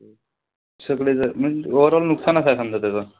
सगळेजण म्हणजे overall नुकसानच हाये समजा त्याच.